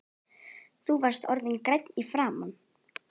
Þú varst orðinn grænn í framan.